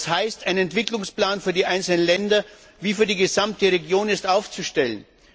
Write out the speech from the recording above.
Das heißt, es ist ein Entwicklungsplan für die einzelnen Länder sowie für die gesamte Region aufzustellen.